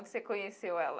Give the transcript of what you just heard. Você conheceu ela?